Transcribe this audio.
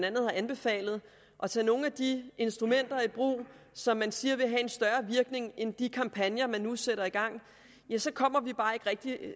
andet har anbefalet og tage nogle af de instrumenter i brug som den siger vil have en større virkning end de kampagner man nu sætter i gang så kommer vi bare ikke